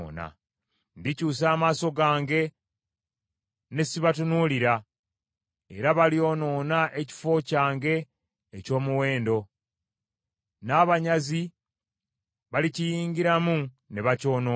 Ndikyusa amaaso gange ne si batunuulira, era balyonoona ekifo kyange eky’omuwendo; n’abanyazi balikiyingiramu ne bakyonoona.